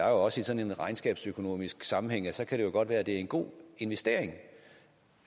også i sådan en regnskabsøkonomisk sammenhæng at så kan det godt være at det er en god investering